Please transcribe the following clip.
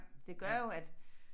Det gør jo at